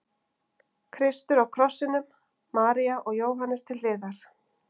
Kristur á krossinum, María og Jóhannes til hliðar.